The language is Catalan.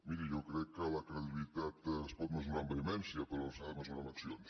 miri jo crec que la credibilitat es pot mesurar amb vehemència però s’ha de mesurar amb accions